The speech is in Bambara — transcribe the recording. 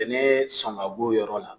Bɛnɛɛ sɔn ka g'o yɔrɔ la